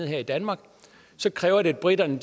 her i danmark så kræver det at briterne